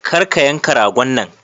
Kar ka yanka ragon nan.